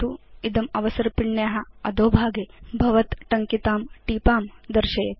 इदम् अवसर्पिण्या अधोभागे भवत् टङ्कितां टीपां दर्शयेत्